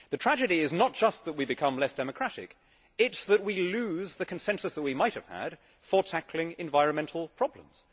The tragedy is not just that we become less democratic it is that we lose the consensus that we might have had for tackling environmental problems.